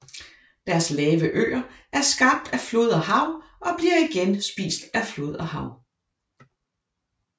Deres lave øer er skabt af flod og hav og bliver igen spist af flod og hav